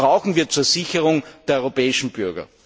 Das brauchen wir zur Sicherung der europäischen Bürger.